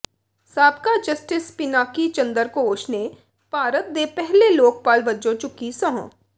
ਸਾਬਕਾ ਜਸਟਿਸ ਪਿਨਾਕੀ ਚੰਦਰ ਘੋਸ਼ ਨੇ ਭਾਰਤ ਦੇ ਪਹਿਲੇ ਲੋਕਪਾਲ ਵਜੋਂ ਚੁੱਕੀ ਸਹੁੰ